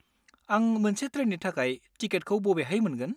आं मोनसे ट्रेननि थाखाय टिकेटखौ बबेहाय मोनगोन?